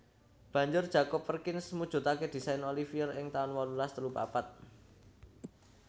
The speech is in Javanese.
Banjur Jacob Perkins mujudake désain Oliver ing taun wolulas telu papat